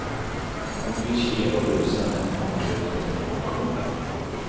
Hon vill kela och busa när hon kommer ut för att få motion.